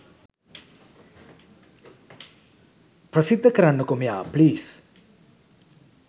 ප්‍රසිද්ධ කරන්න කෝ මෙයා ප්ලීස්!